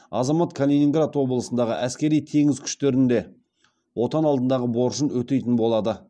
азамат калининград облысындағы әскери теңіз күштерінде отан алдындағы борышын өтейтін болады